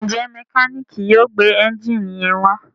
njé Mẹkáníìkì yóò gbé Ẹ́ńjìnì yén wá?